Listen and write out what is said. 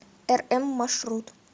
рм маршрут